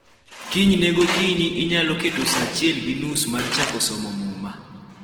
Kinyne gokinyi, inyalo keto sa achiel gi nus mar chako somo Muma.